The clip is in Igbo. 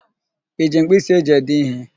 I ji mpkịsị e ji ede ihe?